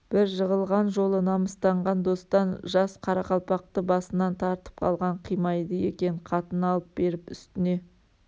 бір жығылған жолы намыстанған достан жас қарақалпақты басынан тартып қалған қимайды екен қатын алып беріп үстіне